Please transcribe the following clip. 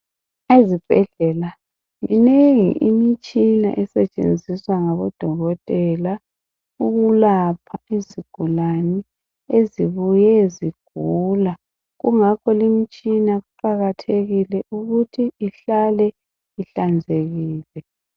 Ezibhedlela minengi imitshina esetshenziswa ngabodokotela ukulapha izigulani ezibuye zigula. Kungakho imitshina kuqakathekile ukuthi ihlale ihlanzekile.